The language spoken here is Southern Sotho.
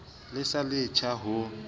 le sa le letjha ho